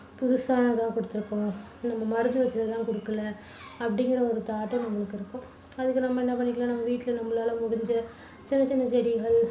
புதுசா தான் கொடுத்திருக்கோம். நம்ம மருந்து வெச்சது எல்லாம் கொடுக்கலை அப்படிங்குற ஒரு thought நம்மளுக்கு இருக்கும். அதுக்கு நம்ம என்ன பண்ணிக்கலாம், நம்ம வீட்ல நம்மளால முடிஞ்ச சின்ன சின்ன செடிகள்